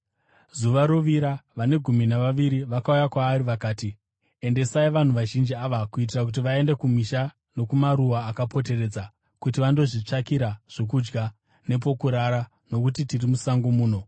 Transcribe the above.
Zuva rovira, vane Gumi Navaviri vakauya kwaari vakati, “Endesai vanhu vazhinji ava kuitira kuti vaende kumisha nokumaruwa akapoteredza kuti vandozvitsvakira zvokudya nepokurara, nokuti tiri musango muno.”